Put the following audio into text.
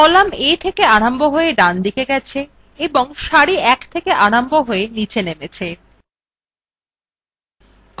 column a থেকে আরম্ভ হয়ে down দিকে গেছে এবং সারি 1 থেকে আরম্ভ নীচে নেমেছে